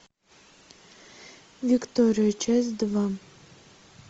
виктория часть два